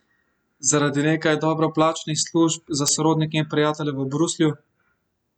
Zaradi nekaj dobro plačanih služb za sorodnike in prijatelje v Bruslju?